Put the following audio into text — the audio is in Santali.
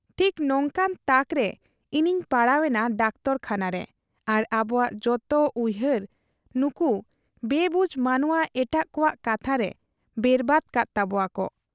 ᱴᱷᱤᱠ ᱱᱚᱝᱠᱟᱱ ᱛᱟᱠᱨᱮ ᱤᱧᱤᱧ ᱯᱟᱲᱟᱣ ᱮᱱᱟ ᱰᱟᱠᱛᱚᱨᱠᱷᱟᱱᱟᱨᱮ ᱟᱨ ᱟᱵᱚᱣᱟᱜ ᱡᱚᱛᱚ ᱩᱭᱦᱟᱹᱨ ᱱᱩᱠᱩ ᱵᱮᱵᱩᱡᱽ ᱢᱟᱱᱮᱶᱟ ᱮᱴᱟᱜ ᱠᱚᱣᱟᱜ ᱠᱟᱛᱷᱟᱨᱮ ᱵᱮᱨᱵᱟᱫᱽ ᱠᱟᱫ ᱛᱟᱵᱚᱣᱟᱠᱚ ᱾